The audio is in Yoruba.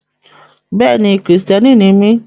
Bẹ́ẹ̀ni, Kristiani ni mi.